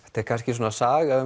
þetta er kannski saga